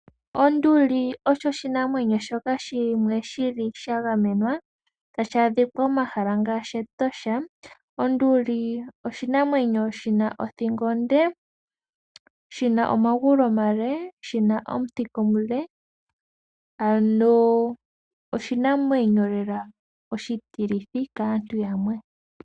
Onduli osho oshinamwenyo shoka shili shagamenwa no hashi adhika momahala ngashi mEtosha. Onduli oshinamwenyo shina othingo onde, omagulu omale nothika onde, noshili oshinamwenyo oshi ti lithi kaantu yamwe.